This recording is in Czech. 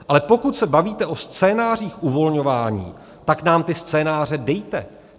Ale pokud se bavíte o scénářích uvolňování, pak nám ty scénáře dejte.